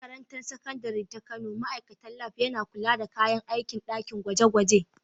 A Makarantar Sakandare ta Kano, ma’aikacin Lab yana kula da kayan aikin ɗakin gwaje-gwaje.